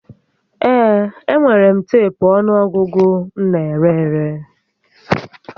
Ee, enwere m teepu ọnụọgụgụ m n'ere ere